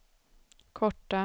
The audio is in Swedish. korta